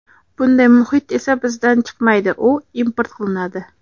Bunday muhit esa bizdan chiqmaydi, u import qilinadi.